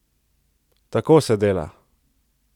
Tako se dela!